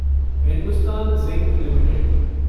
Hindustan Zinc limited